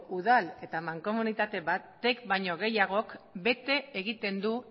udal eta mankomunitate batek baino gehiagok bete egiten du